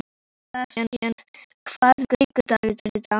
Sebastian, hvaða vikudagur er í dag?